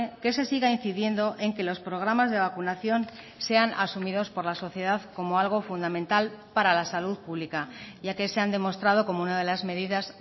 que se siga incidiendo en que los programas de vacunación sean asumidos por la sociedad como algo fundamental para la salud pública ya que se han demostrado como una de las medidas